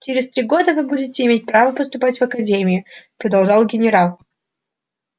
через три года вы будете иметь право поступать в академию продолжал генерал